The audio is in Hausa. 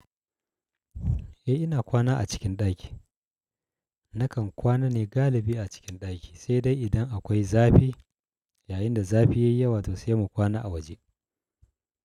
Eh ina kwana a cikin ɗaki. Nakan kwana ne galibi a cikin ɗaki, sai dai idan akwai zafi. Yayin da zafi yayi yawa to sai mu kwana a waje.